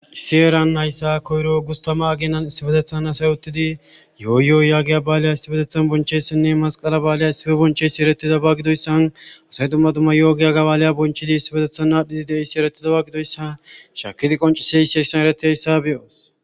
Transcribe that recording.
Issi eran nayssa koyro ugustama aginan issi bedethan asayottidi yo.oyyo.oyyaagi a baaliya issibedethan bonchessinne masqala ba7aliya isibe boncheyssi eretida bagidoyssan asay dumma tuma yo7ogiya gabaaliya bonchidi issi bedethan aadhdhidi deissi erettida baggidoyssa shakidi qonciseyi sesan eretidayssa beyoos.